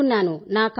కోలుకున్నాను